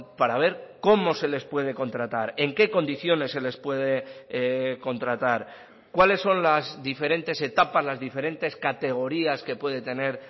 para ver cómo se les puede contratar en qué condiciones se les puede contratar cuáles son las diferentes etapas las diferentes categorías que puede tener